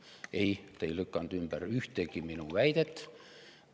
Ei, te ei lükanud ümber ühtegi minu väidet.